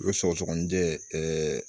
U ye sɔgɔsɔgɔninjɛ ɛɛ